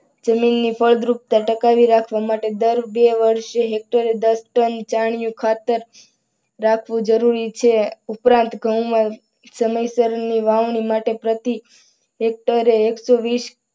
જમીનની ફળદ્રુપતા ટકાવી રાખવા માટે દર બે વર્ષે હેક્ટર દીઠ દસ ટન છાણીયું ખાતર રાખવું જરૂરી છે ઉપરાંત ઘઉં મા સમયસર ની વાવણી માટે પ્રતિ હેક્ટરે એકસો વીસ